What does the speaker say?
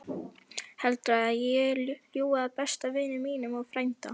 Heldurðu að ég ljúgi að besta vini mínum og frænda?